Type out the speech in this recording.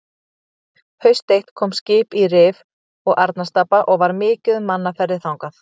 Haust eitt kom skip í Rif og Arnarstapa og var mikið um mannaferðir þangað.